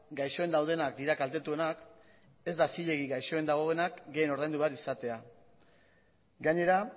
gaixoen daudenak dira kaltetuenak ez da zilegi gaixoen dagoenak gehien ordaindu behar izatea gainera